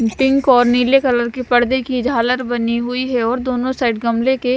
pink और नीले colour की परदे की झालर बनी हुई है और दोनों साइड गमले के--